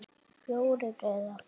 Fjórir eða fimm!